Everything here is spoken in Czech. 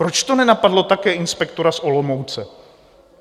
Proč to nenapadlo také inspektora z Olomouce?